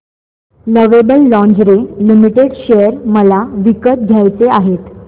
lovable Lingerie Limited share मला विकत घ्यायचे आहेत